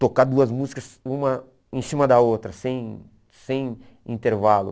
Tocar duas músicas, uma em cima da outra, sem sem intervalo.